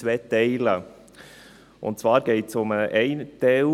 Er hat zwei Teile, und zwar geht es um den einen Teil.